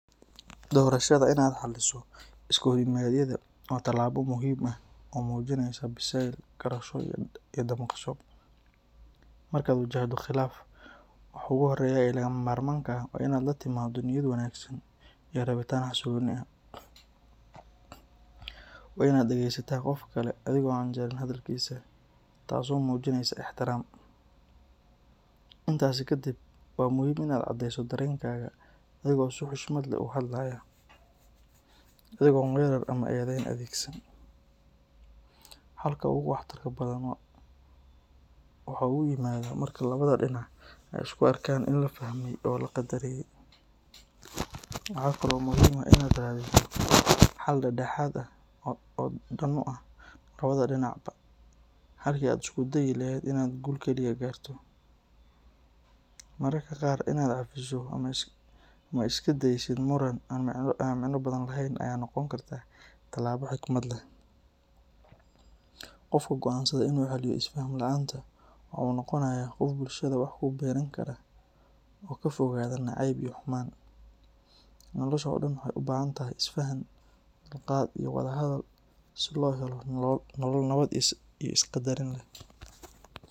Doorashada in aad xaliso iskahorimaadyada waa talaabo muhiim ah oo muujinaysa biseyl, garasho iyo damqasho. Marka aad wajahdo khilaaf, waxa ugu horeeya ee lagama maarmaanka ah waa in aad la timaado niyad wanaagsan iyo rabitaan xasilooni ah. Waa in aad dhegaysataa qofka kale adigoo aan jarin hadalkiisa, taasoo muujinaysa ixtiraam. Intaasi ka dib, waa muhiim in aad cadeyso dareenkaaga adigoo si xushmad leh u hadlaya, adigoon weerar ama eedeyn adeegsan. Xalka ugu waxtarka badan waxa uu yimaadaa marka labada dhinacba ay isu arkaan in la fahmay oo la qadariyay. Waxa kale oo muhiim ah in aad raadiso xal dhexdhexaad ah oo dan u ah labada dhinacba halkii aad isku dayi lahayd in aad guul kaliya gaarto. Mararka qaar, in aad cafiso ama iska daysid muran aan micno badan lahayn ayaa noqon karta talaabo xigmad leh. Qofka go’aansada in uu xaliyo isfaham la’aanta waxa uu noqonayaa qof bulshada wax ku biirin kara, oo ka fogaada nacayb iyo xumaan. Nolosha oo dhan waxa ay u baahan tahay isfaham, dulqaad iyo wada hadal si loo helo nolol nabad iyo isqadarin leh.